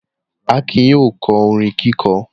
Akin yóò kọ́ orin kíkọ́.